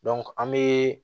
an bɛ